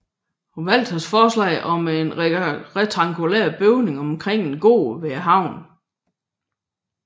Walthers forslag var en rektangulær bygning omkring en gård ved havnen